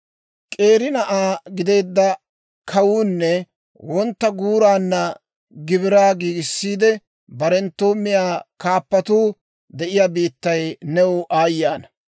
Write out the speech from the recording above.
K'eeri na'aa gideedda kawuunne wontta guuraanna gibiraa giigissiide, barenttoo miyaa kaappatuu de'iyaa biittay new aayye ana!